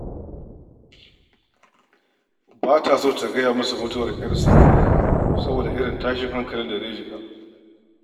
Ba ta son ta gaya masa mutuwar 'yarsa, saboda irin tashin hakalin da zai shiga.